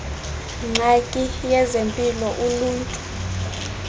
ngxaki yezempilo uluntu